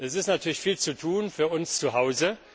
Es ist natürlich viel zu tun für uns zu Hause.